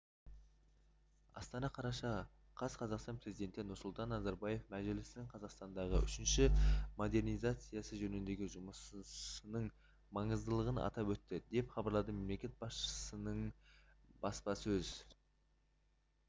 астана қараша қаз қазақстан президенті нұрсұлтан назарбаев мәжілістің қазақстандағы үшінші модернизациясы жөніндегі жұмысының маңыздылығын атап өтті деп хабарлады мемлекет басшысының баспасөз